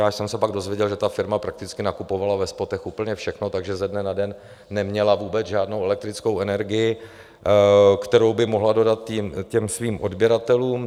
Já jsem se pak dozvěděl, že ta firma prakticky nakupovala ve spotech úplně všechno, takže ze dne na den neměla vůbec žádnou elektrickou energii, kterou by mohla dodat svým odběratelům.